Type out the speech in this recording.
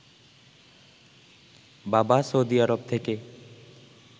বাবা Saudi Arab থেকে